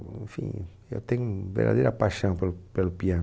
Enfim, eu tenho verdadeira paixão pelo pelo piano.